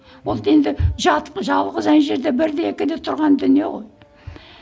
ол да енді жалғыз ана жерде бірде екіде тұрған дүние ғой